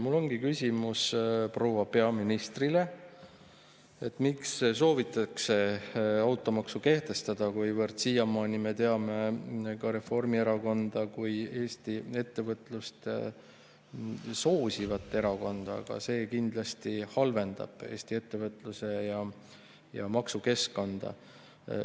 Mul ongi küsimus proua peaministrile, miks soovitakse automaksu kehtestada, kuivõrd siiamaani me teame ka Reformierakonda kui Eesti ettevõtlust soosivat erakonda, aga see kindlasti halvendab Eesti ettevõtlus- ja maksukeskkonda.